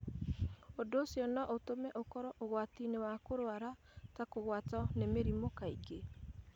Ũndũ ũcio no ũtũme ũkorũo ũgwati-inĩ wa kũrũara, ta kũgwatwo nĩ mĩrimũ kaingĩ.